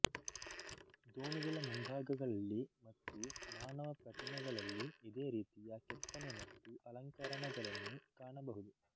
ದೋಣಿಗಳ ಮುಂಭಾಗಗಳಲ್ಲಿ ಮತ್ತು ಮಾನವ ಪ್ರತಿಮೆಗಳಲ್ಲಿ ಇದೇ ರೀತಿಯ ಕೆತ್ತನೆ ಮತ್ತು ಅಲಂಕರಣಗಳನ್ನು ಕಾಣಬಹುದು